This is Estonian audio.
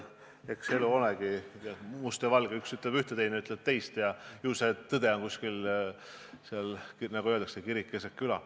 Eks elu olegi must ja valge, üks ütleb üht, teine ütleb teist ja ju see tõde on seal kusagil vahepeal – nagu öeldakse, kirik keset küla.